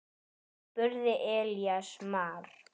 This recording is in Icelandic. spurði Elías Mar.